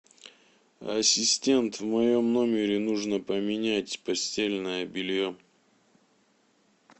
ассистент в моем номере нужно поменять постельное белье